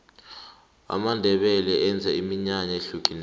amandebele enza iminyanaya ehlukileko